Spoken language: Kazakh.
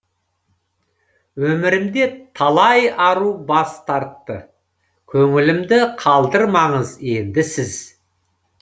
өмірімде талай ару бас тартты көңілімді қалдырмаңыз енді сіз